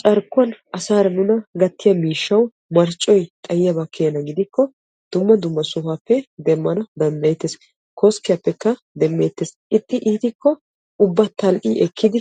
Carkkuwan asaara nuna gattiya miishshawu marccoy xayiyabba gidikko dumma dumma sohuwappe demmaanawu danddayeetes. Koskkiyappekka demeetes ixxi iittikko tal'i ekiddi